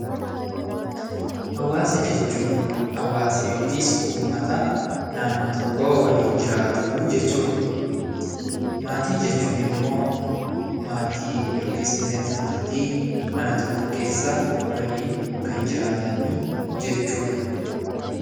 Hawaasa jechuun hawaasa yookiin uummata naannoo tokkoo waliin jiraatu jechuudha. Maatii jechuun ammoo maatii yookiis miseensa maatii mana tokko keessa waliin kan jiraatanii jechuudha.